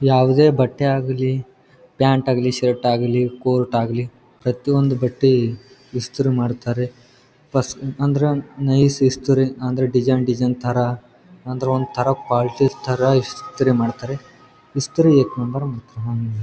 ಯಾವದೇ ಬಟ್ಟೆ ಆಗ್ಲಿ ಪ್ಯಾಂಟ್ ಆಗ್ಲಿ ಶರ್ಟ್ ಆಗ್ಲಿ ಕೋರ್ಟ್‌ ಆಗ್ಲಿ ಪ್ರತಿಯೊಂದು ಬಟ್ಟೆ ಇಸ್ತ್ರಿ ಮಾಡತ್ತರೆ ಪಸ್ ಅಂದ್ರೇನು ನೈಸ್ ಇಸ್ತ್ರಿ ಅಂದ್ರೆ ಡಿಸೈನ್ ಡಿಸೈನ್ ತರ ಅಂದ್ರೆ ಒಂತರ ಕ್ವಾಲಿಟಿ ತರ ಇಸ್ತ್ರಿ ಮಾಡತ್ತರೆ ಇಸ್ತ್ರಿ ಏಕ್‌ ನಂಬರ್ .